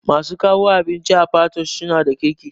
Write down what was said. Masu kawo abinci a patoosh suna da kirki